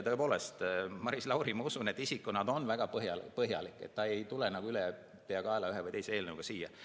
Tõepoolest, Maris Lauri, ma usun, on isikuna väga põhjalik, ta ei tule ülepeakaela ühe või teise eelnõuga siia.